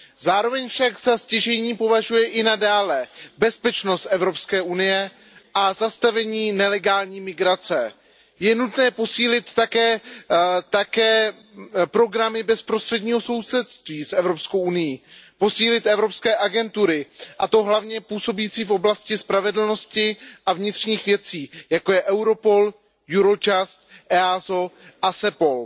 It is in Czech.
Zároveň však za stěžejní považuje i nadále bezpečnost Evropské unie a zastavení nelegální migrace. Je nutné posílit také programy bezprostředního sousedství s Evropskou unií, posílit evropské agentury, a to hlavně působící v oblasti spravedlnosti a vnitřních věcí, jako je Europol, Eurojust, EASO a CEPOL.